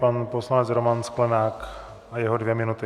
Pan poslanec Roman Sklenák a jeho dvě minuty.